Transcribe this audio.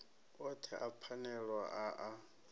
othe a phanele a a